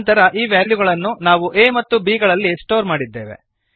ನಂತರ ಈ ವ್ಯಾಲ್ಯುಗಳನ್ನು ನಾವು a ಮತ್ತು b ಗಳಲ್ಲಿ ಸ್ಟೋರ್ ಮಾಡಿದ್ದೇವೆ